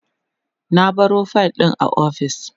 na baro fayil ɗin a ofis